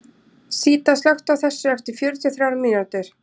Síta, slökktu á þessu eftir fjörutíu og þrjár mínútur.